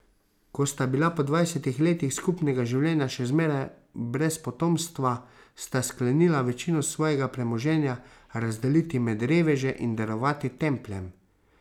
Ko sta bila po dvajsetih letih skupnega življenja še zmeraj brez potomstva, sta sklenila večino svojega premoženja razdeliti med reveže in darovati templjem.